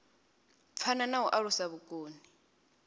phana na u alusa vhukoni